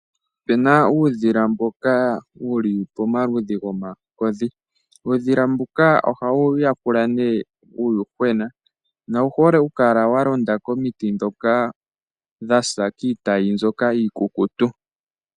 Opuna uudhila mboka wuli pomaludhi gomakodhi. Uudhila mbuka ohawu yakula nee uuyuhwena nowu hole okukala walonda komiti ndhoka dhasa kiitayi mbyoka iikukutu.